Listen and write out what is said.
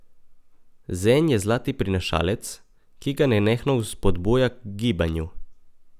Zen je zlati prinašalec, ki ga nenehno vzpodbuja k gibanju.